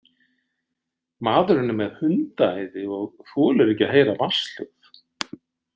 Maðurinn er með hundaæði og þolir ekki að heyra vatnshljóð.